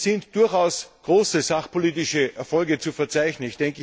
Es sind durchaus große sachpolitische Erfolge zu verzeichnen.